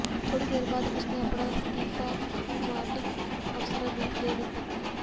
ਥੋੜ੍ਹੀ ਦੇਰ ਬਾਅਦ ਉਸ ਨੇ ਆਪਣਾ ਅਸਤੀਫਾ ਕਮਾਂਡਿੰਗ ਅਫਸਰ ਨੂੰ ਦੇ ਦਿੱਤਾ